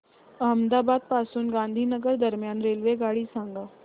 अहमदाबाद पासून गांधीनगर दरम्यान रेल्वेगाडी सांगा